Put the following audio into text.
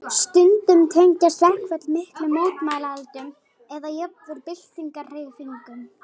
Stundum tengjast verkföll miklum mótmælaöldum eða jafnvel byltingarhreyfingum.